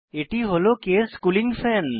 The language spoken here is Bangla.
এটি হল কেস কুলিং ফ্যান